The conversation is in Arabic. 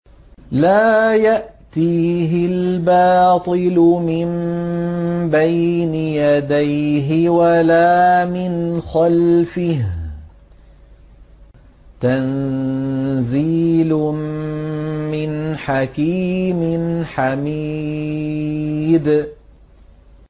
لَّا يَأْتِيهِ الْبَاطِلُ مِن بَيْنِ يَدَيْهِ وَلَا مِنْ خَلْفِهِ ۖ تَنزِيلٌ مِّنْ حَكِيمٍ حَمِيدٍ